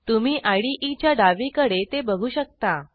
तुम्ही IDEच्या डावीकडे ते बघू शकता